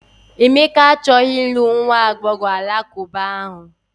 Emeka achọghị ịlụ nwa agbọghọ Alakụba ahụ.